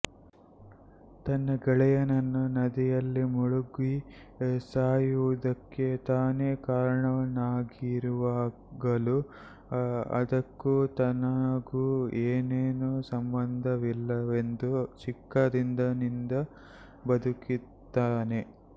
ತನ್ನ ಗೆಳೆಯನನ್ನು ನದಿಯಲ್ಲಿ ಮುಳುಗಿ ಸಾಯುವುದಕ್ಕೆ ತಾನೇ ಕಾರಣನಾಗಿರುವಾಗಲೂ ಅದಕ್ಕೂ ತನಗೂ ಏನೇನೂ ಸಂಬಂಧವಿಲ್ಲವೆಂದು ಚಿಕ್ಕಂದಿನಿಂದ ಬದುಕುತ್ತಾನೆ